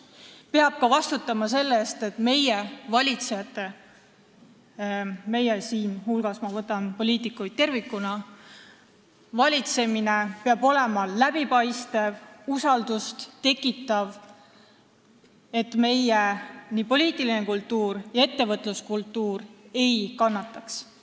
Ta peab ka vastutama selle eest, et meie, valitsejate – ma võtan siinkohal poliitikuid tervikuna –, valitsemine on läbipaistev ja usaldust tekitav, et meie poliitiline kultuur ega ettevõtluskultuur ei kannataks.